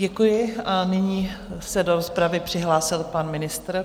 Děkuji a nyní se do rozpravy přihlásil pan ministr.